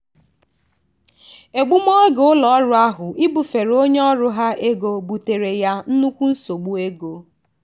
egbumoge ụlọọrụ ahụ ibufere onye ọrụ ha ego buteere ya nnukwu nsogbu ego.